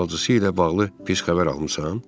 Bacısı ilə bağlı pis xəbər almısan?